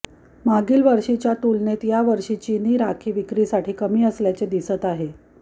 मागील वर्षीच्या तुलनेत या वर्षी चिनी राखी विक्रीसाठी कमी असल्याचे दिसत आहे